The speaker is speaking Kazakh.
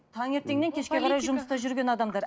таңертеңнен кешке қарай жұмыста жүрген адамдар